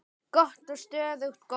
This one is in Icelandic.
Gott og stöðugt golf!